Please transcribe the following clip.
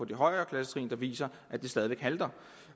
de højere klassetrin der viser at det stadig væk halter